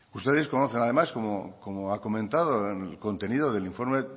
ustedes conocen además como ha comentado el contenido del informe